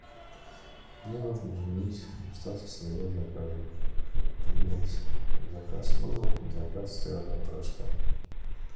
мне нужно изменить статус своего заказа поменять заказ мыла на заказ стирального порошка